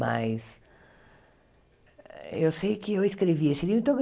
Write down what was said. Mas eu sei que eu escrevi esse livro. Então